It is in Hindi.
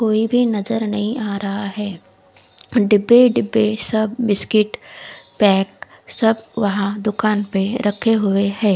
कोई भी नज़र नही आ रहा है डिब्बे डिब्बे सब बिस्किट पेक सब वहा दूकान पे रखे हुए है।